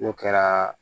N'o kɛra